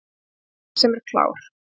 Einhver sem er klár